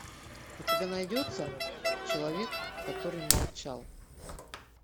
у тебя найдется человек который молчал